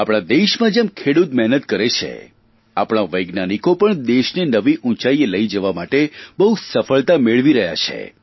આપણા દેશમાં જેમ જેમ ખેડૂત મહેનત કરે છે આપણા વૈજ્ઞાનિકો પણ દેશને નવી ઉંચાઇએ લઇ જવા માટે બહુ સફળતા મેળવી રહ્યા છે